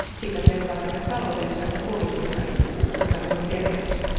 Siitä seuraa sekä taloudellista että poliittista riippuvuutta, joka ei ole terveellistä.